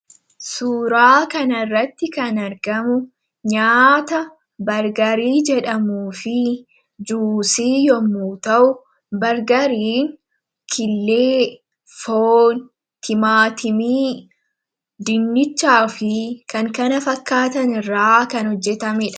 Suuraa kan irratti kan argamu nyaata bargarii jedhamuu fi juusii yommu ta'u bargariin killee timaatimii, dinnichaa fi kan kana fakkaatan irras kan hojjatamaniidha.